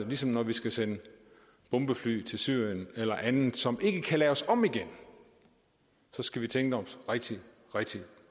ligesom når vi skal sende bombefly til syrien eller andet som ikke kan laves om igen så skal vi tænke os rigtig rigtig